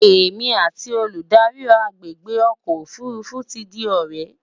èmi àti Olùdarí agbègbè ọkọ òfurufú tí di ọrẹ